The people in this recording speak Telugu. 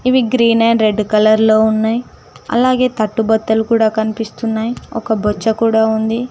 ఇవి గ్రీన్ ఆండ్ రెడ్ కలర్లో ఉన్నాయి అలాగే తట్టు బొత్తలు కూడా కనిపిస్తున్నాయి ఒక బొచ్చ కూడా ఉంది.